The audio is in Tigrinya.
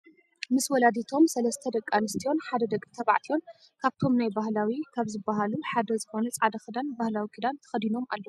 ምስ ወላዲቶም ሰለስተ ደቂ ኣንስትዮን ሓደ ደቂ ተባዕትዮን ካብቶም ናይ ባህላዊ ካብ ዝብሃሉ ሓደ ዝኮነ ፃዕዳ ክዳን ባህላዊ ክዳን ተከዲኖም ኣለው።